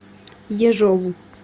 ежову